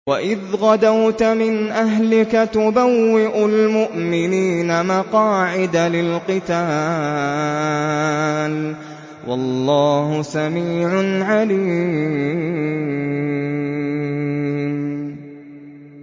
وَإِذْ غَدَوْتَ مِنْ أَهْلِكَ تُبَوِّئُ الْمُؤْمِنِينَ مَقَاعِدَ لِلْقِتَالِ ۗ وَاللَّهُ سَمِيعٌ عَلِيمٌ